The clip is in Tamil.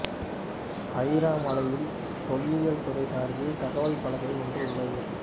அயிரை மலையில் தொல்லியல் துறை சார்பில் தகவல் பலகை ஒன்று உள்ளது